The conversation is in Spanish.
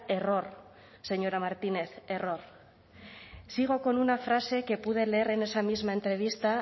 error señora martínez error sigo con una frase que pude leer en esa misma entrevista